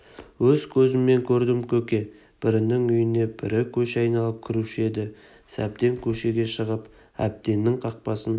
өз көзіммен көрдім көке бірінің үйіне бірі көше айналып кіруші еді сәбден көшеге шығып әбденнің қақпасын